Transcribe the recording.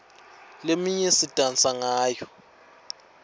leminye sidansa ngayo